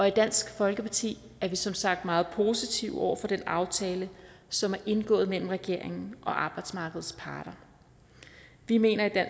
i dansk folkeparti er vi som sagt meget positive over for den aftale som er indgået mellem regeringen og arbejdsmarkedets parter vi mener